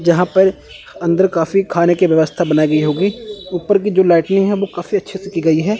यहां पर अंदर काफी खान की व्यवस्था बनाई गई होगी ऊपर की जो लाइटनिंग है वो काफी अच्छी से की गई है।